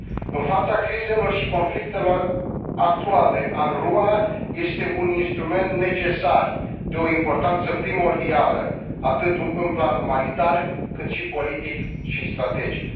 În fața crizelor și conflictelor actuale, UNRWA este un instrument necesar, de o importanță primordială, atât în plan umanitar, cât și politic și strategic.